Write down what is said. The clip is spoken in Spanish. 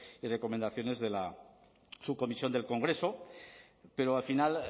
y recomendaciones de la subcomisión del congreso pero al final